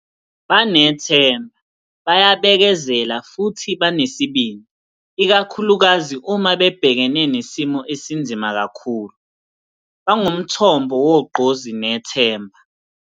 Banethemba, bayabekezela futhi banesibindi, ikakhulukazi uma bebhekene nesimo esinzima kakhulu. Bangumthombo wogqozi nethemba.